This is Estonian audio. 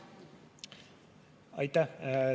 Aitäh!